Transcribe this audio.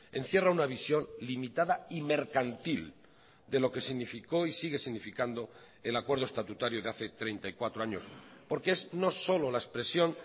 encierra una visión limitada y mercantil de lo que significó y sigue significando el acuerdo estatutario de hace treinta y cuatro años porque es no solo la expresión